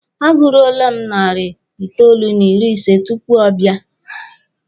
A gụruole m narị itoolu n'ịrị ise tupu ọ bịa.